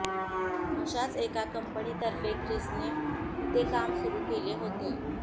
अशाच एका कंपनीतर्फे ख्रिसने इथे काम सुरू केले होते